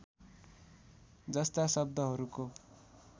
जस्ता शब्दहरूको